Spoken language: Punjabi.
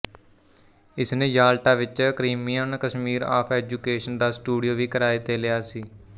ਇਸਨੇ ਯਾਲਟਾ ਵਿਚ ਕਰੀਮੀਅਨ ਕਮੀਸਰ ਆਫ ਐਜੂਕੇਸ਼ਨ ਦਾ ਸਟੂਡੀਓ ਵੀ ਕਿਰਾਏ ਤੇ ਲਿਆ ਸੀ